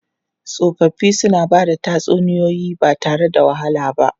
Tsofaffi suna ba da tatsuniyoyi ba tare da wahala ba.